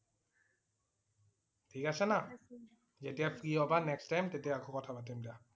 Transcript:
ঠিক আছে না? যেতিয়া free হবা next time তেতিয়া আকৌ কথা পাতিম দিয়া